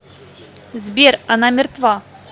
сбер она мертва